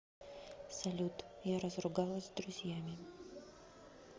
салют я разругалась с друзьями